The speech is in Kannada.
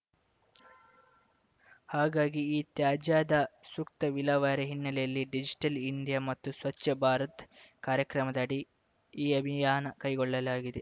ಹಾಗಾಗಿ ಇತ್ಯಾಜ್ಯದ ಸೂಕ್ತ ವಿಲೇವಾರಿ ಹಿನ್ನೆಲೆಯಲ್ಲಿ ಡಿಜಿಟಲ್‌ ಇಂಡಿಯಾ ಮತ್ತು ಸ್ವಚ್ಛ ಭಾರತ್‌ ಕಾರ್ಯಕ್ರಮದಡಿ ಈ ಅಭಿಯಾನ ಕೈಗೊಳ್ಳಲಾಗಿದೆ